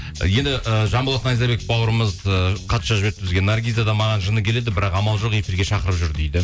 енді і жанболат найзабек бауырымыз ыыы хат жазып жіберіпті бізге наргиза да маған жыны келеді бірақ амал жоқ эфирге шақырып жүр дейді